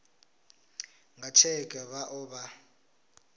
nga tsheke vha o vha